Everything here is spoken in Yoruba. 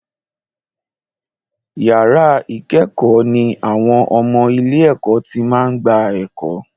Yàrá ìkẹ́kọ̀ọ́ ní àwọn ọmọ ilé-ẹ̀kọ́ tí máa ń gba ẹ̀kọ́.